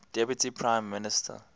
deputy prime minister